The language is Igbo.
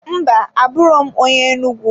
Mba, abụro m onye Enugwu.